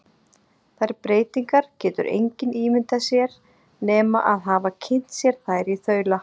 Þær breytingar getur engin ímyndað sér nema að hafa kynnt sér þær í þaula.